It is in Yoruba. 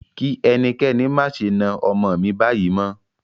Kí ẹnikẹ́ni má ṣe na ọmọ mí báyìí mọ́!